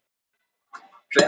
Draumur Þorsteins Egilssonar